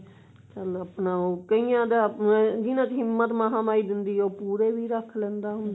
ਸ ਭ ਆਪਣਾ ਉਹ ਕਈਆਂ ਦਾ ah ਜਿਹਨਾਂ ਚ ਹਿਮਤ ਮਹਾ ਮਾਈ ਦਿੰਦੀ ਹੈ ਉਹ ਪੂਰੇ ਵੀ ਰੱਖ ਲੈਂਦਾ ਹੁੰਦਾ